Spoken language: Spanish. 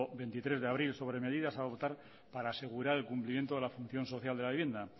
veintitrés de abril sobre medidas a adoptar para asegurar el cumplimiento de la función social de la vivienda